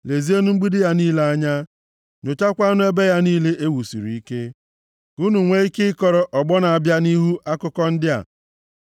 Lezienụ mgbidi ya niile anya, nyochakwaanụ ebe ya niile e wusiri ike, ka unu nwee ike ịkọrọ ọgbọ na-abịa nʼihu akụkọ ndị a.